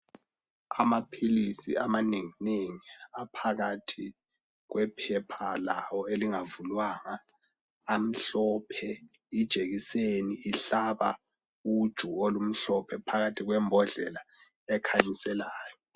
Amaphilisi amanengi nengi aphakathi kwephepha lawo elingavulwanga amhlophe ijekiseni ihlaba uju olumhlophe phakathi kwembodlela ekhanyiselayo